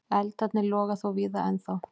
Eldarnir loga þó víða ennþá.